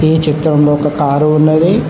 ఈ చిత్రంలో ఒక కారు ఉన్నది.